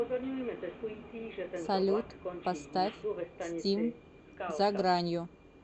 салют поставь стим за гранью